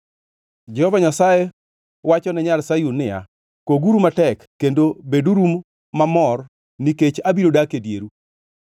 Jehova Nyasaye wachone nyar Sayun niya, “Koguru matek kendo beduru mabor nikech abiro dak e dieru.